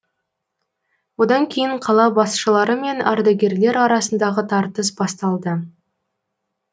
одан кейін қала басшылары мен ардагерлер арасындағы тартыс басталды